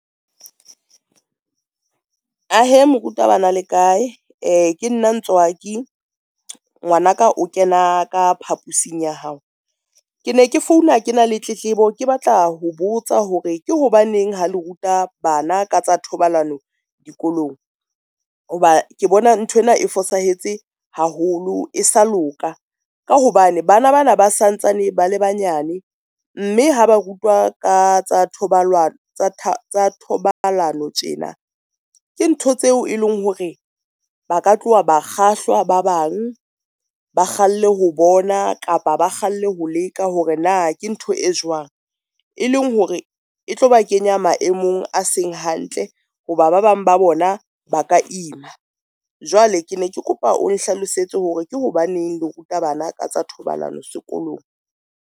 Ahe moruta bana le kae? E, ke nna Ntswaki, ngwanaka o kena ka phapusing ya hao. Ke ne ke founa, ke na le tletlebo ke batla ho botsa hore ke hobaneng ha le ruta bana ka tsa thobalano dikolong ho ba ke bona nthwena e fosahetse haholo, e sa loka ka hobane bana bana ba santsane ba le banyane, mme ha ba rutwa ka tsa thobalano tjena ke ntho tseo e leng hore ba ka tloha ba kgahlwa, ba bang ba kgalle ho bona kapa ba kgalle ho leka hore na ke ntho e jwang. Eleng hore e tlo ba kenya maemong a seng hantle ho ba ba bang ba bona ba ka ima. Jwale ke ne ke kopa o nhlalosetse hore ke hobaneng le ruta bana ka tsa thobalano sekolong.